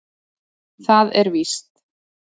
Það er víst.